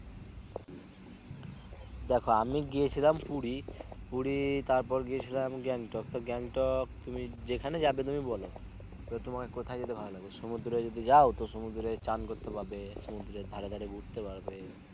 দেখো আমি গিয়েছিলাম পুরি পুরি তার পর গিয়ে ছিলাম গেন্টোক তো গেন্টোক তুমি যেখানে যাবে তুমি বলও? তোমার কোথায় যেতে ভালো লাগে সমুদ্রে যদি যাও ও সমুদ্রে চান করতে পারবে সমুদ্রে ধারে ধারে ঘুরতে পারবে